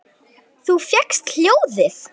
Þú fékkst hjólið!